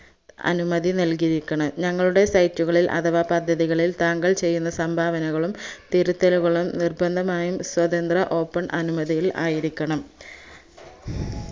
അനുമതി നൽകിയിരിക്കണം ഞങ്ങളുടെ site കളിൽ അഥവാ പദ്ധതികളിൽ താങ്കൾ ചെയ്യുന്ന സംഭാവനകളും തിരുത്തലുകളും നിർബന്ധമായും സ്വതന്ത്ര open അനുമതിയിൽ ആയിരിക്കണം